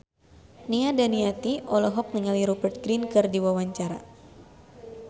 Nia Daniati olohok ningali Rupert Grin keur diwawancara